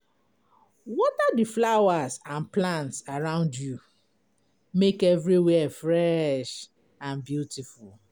Water the flowers and plants around you, make everywhere fresh and beautiful.